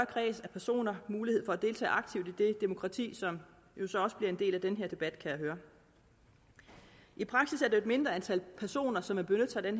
kreds af personer mulighed for at deltage aktivt i det demokrati som jo så også bliver en del af den her debat kan jeg høre i praksis er det et mindre antal personer som vil benytte sig af